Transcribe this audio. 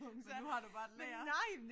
Og nu har du bare et lager